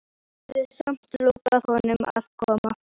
Hafði samt lofað honum að koma.